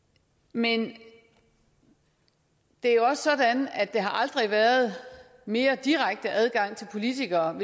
men det er jo også sådan at der aldrig har været mere direkte adgang til politikerne